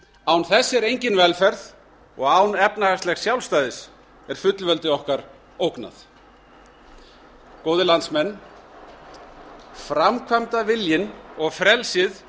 án þess er engin velferð og án efnahagslegs sjálfstæðis er fullveldi okkar ógnað góðir landsmenn framkvæmdaviljinn og frelsið